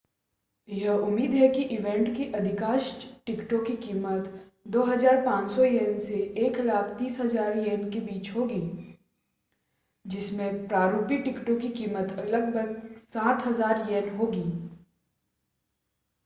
यह उम्मीद है कि ईवेंट की अधिकांश टिकटों की कीमत ¥ 2,500 से ¥130,000 के बीच होगी जिसमें प्ररूपी टिकटों की कीमत लगभग ¥7,000 होगी।